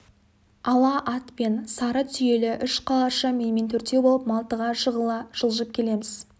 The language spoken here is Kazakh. ала ат пен сары түйелі үш қалашы менімен төртеу болып малтыға жығыла жылжып келеміз